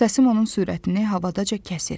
Səsim onun sürətini havadaca kəsir.